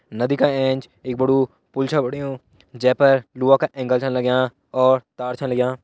नदी का एंच एक बड़ु पुल छ बणयु जै पर लोहा का एंगल छ लग्यां और तार छा लग्यां‌।